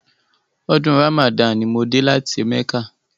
Ọdún Ramadan ni mo dé láti mẹ́kà..